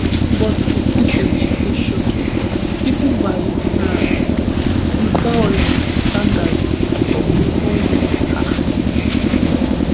but di footage dey shocking even by um di violent standards of dr congo um